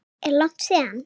Er langt síðan?